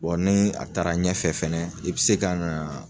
ni a taara ɲɛfɛ fɛnɛ i bi se ka na